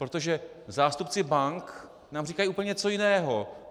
Protože zástupci bank nám říkají úplně něco jiného.